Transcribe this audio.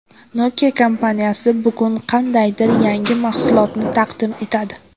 Nokia kompaniyasi bugun qandaydir yangi mahsulotini taqdim etadi.